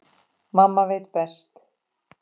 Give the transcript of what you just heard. Mamma veit best.